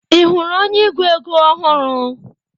Ị hụrụ onye ego ego ọhụrụ?